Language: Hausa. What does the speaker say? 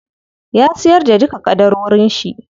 Ya siyar da duka ƙadarorin shi.